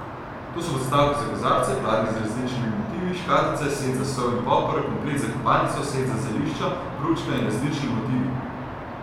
To so podstavki za kozarce, pladnji z različnimi motivi, škatlice, set za sol in poper, komplet za kopalnico, set za zelišča, pručka z različnimi motivi...